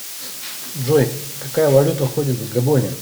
джой какая валюта ходит в габоне